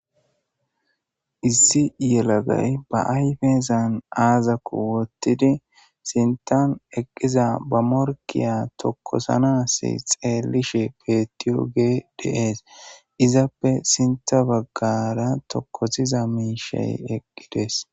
Issi yellagay ba ayffezan azzako wottidi sinththan eqqiza ba moorkke tokosanas xellishe bettiyogey de'ess izzappe sinththa baggara tookosiza mishshay eqqides.